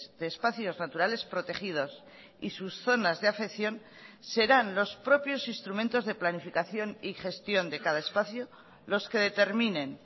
de espacios naturales protegidos y sus zonas de afección serán los propios instrumentos de planificación y gestión de cada espacio los que determinen